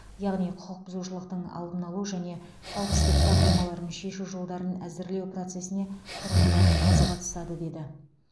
яғни құқық бұзушылықтың алдын алу және қауіпсіздік проблемаларын шешу жолдарын әзірлеу процесіне тұрғындар аз қатысады деді